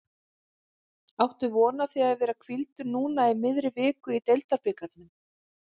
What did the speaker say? Áttu von á því að vera hvíldur núna í miðri viku í deildabikarnum?